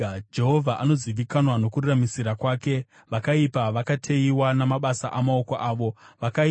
Jehovha anozivikanwa nokururamisira kwake; vakaipa vakateyiwa namabasa amaoko avo. Higayoni. Sera